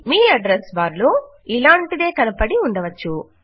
మీ address bar లో ఇలాంటిదే కనపడి ఉండవచ్చు